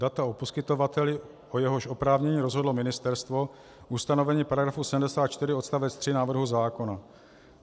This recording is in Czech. Data o poskytovateli, o jehož oprávnění rozhodlo ministerstvo, ustanovení § 74 odst. 3 návrhu zákona.